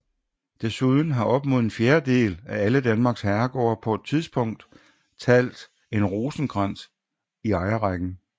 Desuden har op mod en fjerdedel af alle Danmarks herregårde på et tidpunkt talt en Rosenkrantz i ejerrækken